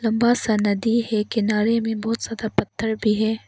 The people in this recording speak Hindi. बस नदी है किनारे में बहुत ज्यादा पत्थर भी है।